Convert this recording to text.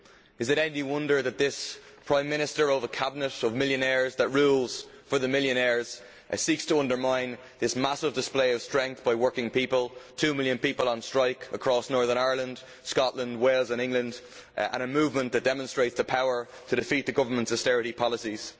Is it any wonder that this Prime Minister of a cabinet of millionaires that rules for the millionaires seeks to undermine this massive display of strength by working people two million people on strike across Northern Ireland, Scotland, Wales and England and a movement that demonstrates the power to defeat the government's austerity policies?